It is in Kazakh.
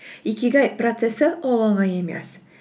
икигай процессі ол оңай емес